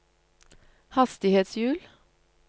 hastighetshjul